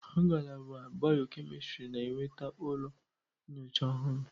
Ngalaba bịọ-kemịstrị na-enweta ụlọ nyocha ọhụrụ.